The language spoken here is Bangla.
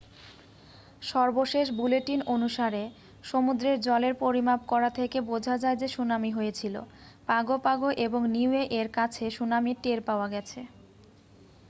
সর্বশেষ বুলেটিন অনুসারে সমুদ্রের জলের পরিমাপ থেকে বোঝা যায় যে সুনামি হয়েছিল পাগো পাগো এবং নিউয়ে এর কাছে সুনামির টের পাওয়া গেছে